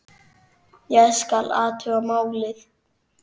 Ég skal athuga málið